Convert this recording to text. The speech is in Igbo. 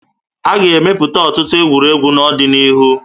A ga-emepụta ọtụtụ egwuregwu n'ọdịnihu